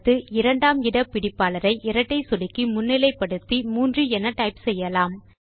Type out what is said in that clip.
அடுத்து இரண்டாம் இட பிடிப்பாளரை இரட்டை சொடுக்கி முன்னிலை படுத்தி 3 என டைப் செய்யலாம்